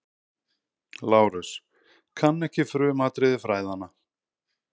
LÁRUS: Kann ekki frumatriði fræðanna.